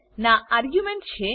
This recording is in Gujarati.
ના આર્ગ્યુંમેંટ છે